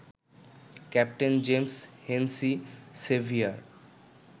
captain James Hennessy severe